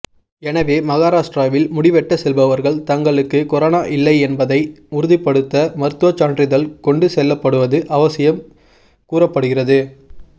எனவே மகாராஷ்டிராவில் முடிவெட்ட செல்பவர்கள் தங்களுக்கு கொரோனா இல்லை என்பதை உறுதிப்படுத்த மருத்துவச் சான்றிதழ் கொண்டு செல்லப்படுவது அவசியம் கூறப்படுகிறது